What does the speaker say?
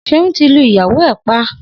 Seun ti lú ìyáwó ẹ̀ pà